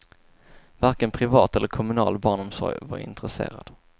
Varken privat eller kommunal barnomsorg var intresserad.